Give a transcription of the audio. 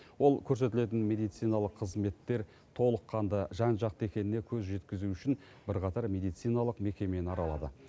ол көрсетілетін медициналық қызметтер толыққанды жан жақты екеніне көз жеткізу үшін бірқатар медициналық мекемені аралады